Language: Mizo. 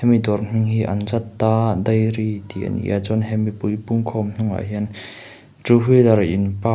hemi dawr hming hi anjanta dairy tih a ni a chuan he mipui pumkhum hnung ah hian two wheeler in park --